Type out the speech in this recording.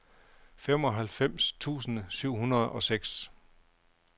femoghalvfems tusind syv hundrede og seks